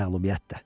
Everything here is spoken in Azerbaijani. Məğlubiyyət də.